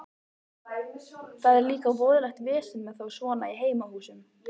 Það er líka voðalegt vesen með þá svona í heimahúsum.